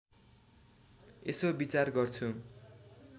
यसो विचार गर्छु